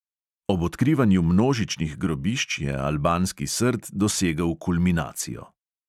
Ob odkrivanju množičnih grobišč je albanski srd dosegel kulminacijo.